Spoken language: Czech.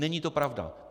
Není to pravda.